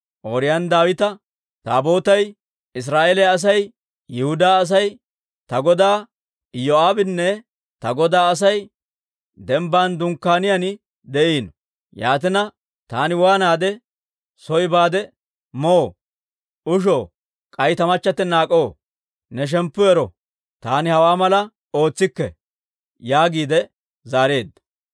Ooriyooni Daawita, «Taabootay, Israa'eeliyaa asay, Yihudaa asay, ta godaa Iyoo'aabinne ta godaa Asay dembban dunkkaaniyaan de'iino. Yaatina taani waanaade soo baade moo, ushoo, k'ay ta machchattina ak'oo? Ne shemppu ero! Taani hawaa malaa ootsikke» yaagiide zaareedda.